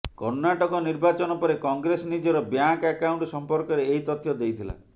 କର୍ଣ୍ଣାଟକ ନିର୍ବାଚନ ପରେ କଂଗ୍ରେସ ନିଜର ବ୍ୟାଙ୍କ ଆକାଉଣ୍ଟ ସଂପର୍କରେ ଏହି ତଥ୍ୟ ଦେଇଥିଲା